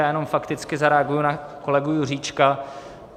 Já jenom fakticky zareaguji na kolegu Juříčka.